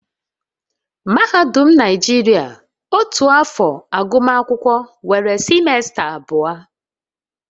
Mahadum Naijiria otu afọ agụmakwụkwọ nwere simesta abụọ